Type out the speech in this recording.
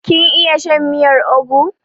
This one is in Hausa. Kin iya shan miyar ugwu?